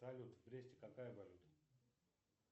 салют в бресте какая валюта